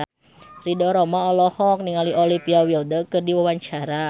Ridho Roma olohok ningali Olivia Wilde keur diwawancara